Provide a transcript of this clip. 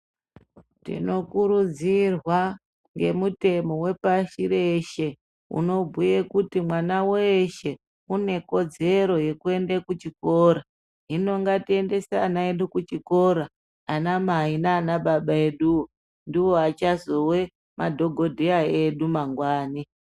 Tino kurudzirwa nge mutemo we pashi reshe unobhuye kuti mwana weshe une kodzero yeku ende ku chikora hino ngatiendese ana edu ku chikora ana mai nana baba eduwo ndivo vachazove madhokodheya edu amangwani.